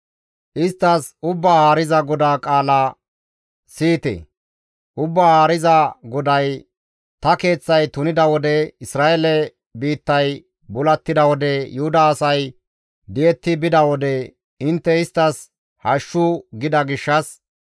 Isttas, ‹Ubbaa Haariza GODAA qaala siyite; Ubbaa Haariza GODAY ta Keeththay tunida wode, Isra7eele biittay bulattida wode, Yuhuda asay di7etti bida wode, intte isttas hashshu! gida gishshas,